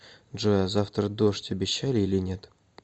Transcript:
джой а завтра дождь обещали или нет